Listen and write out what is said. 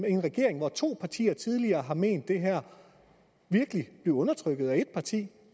af en regering hvoraf to partier tidligere har ment det her virkelig blive undertrykt af et parti